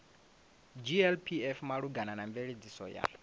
glpf malugana na mveledziso ya